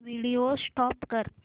video stop कर